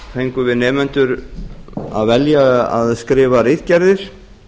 fengum við nemendur að velja að skrifa ritgerðir